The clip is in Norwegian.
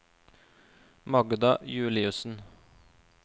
Magda Juliussen